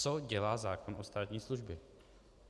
Co dělá zákon o státní službě?